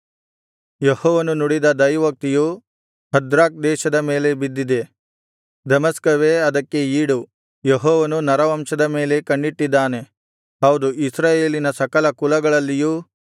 ಯೆಹೋವನು ನುಡಿದ ದೈವೋಕ್ತಿಯು ಹದ್ರಾಕ್ ದೇಶದ ಮೇಲೆ ಬಿದ್ದಿದೆ ದಮಸ್ಕವೇ ಅದಕ್ಕೆ ಈಡು ಯೆಹೋವನು ನರವಂಶದ ಮೇಲೆ ಕಣ್ಣಿಟ್ಟಿದ್ದಾನೆ ಹೌದು ಇಸ್ರಾಯೇಲಿನ ಸಕಲ ಕುಲಗಳಲ್ಲಿಯೂ